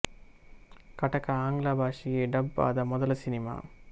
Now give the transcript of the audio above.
ಕಟಕ ಆಂಗ್ಲ ಭಾಷೆಗೆ ಡಬ್ ಆದ ಮೊದಲ ಕನ್ನಡ ಸಿನಿಮಾ